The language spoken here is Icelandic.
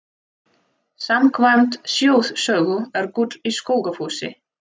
Samkvæmt þjóðsögu er gull í Skógafossi.